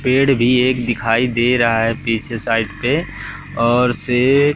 पेड़ भी एक दिखाई दे रहा है पीछे साइड पे और से--